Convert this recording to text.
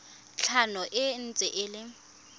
tlhano e ntse e le